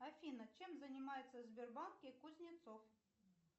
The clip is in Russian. афина чем занимается в сбербанке кузнецов